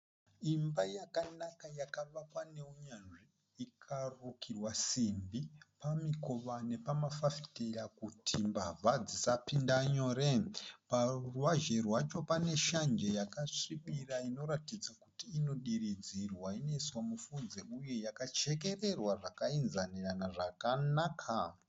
Imba yakanaka yakavakwa neunyanzvi. Ikarukirwa simbi pamikova nepama fafitera kuti mbavha dzisapinda nyore. Paruvazhe rwacho paneshanje yakasvibira inoratidza kuti inodiridzirwa inoiswa mufudze uye yakachekererwa zvakaenzanirana zvakanaka.